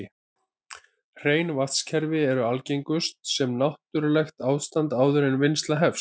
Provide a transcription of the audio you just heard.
Hrein vatnskerfi eru algengust sem náttúrlegt ástand áður en vinnsla hefst.